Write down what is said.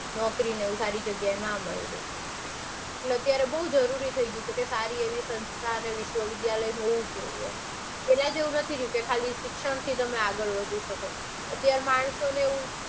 નોકરીને એવું સારી જગ્યાએ ના મળ્યું. એટલે અત્યારે બઉ જરૂરી થઇ ગયું છે કે સારી એવી સંસ્થા ને વિશ્વવિદ્યાલયને હોવું જોઈએ. પેલા જેવું નથી કે તમે ખાલી શિક્ષણથી આગળ વધી શકો. અત્યારે માણસોને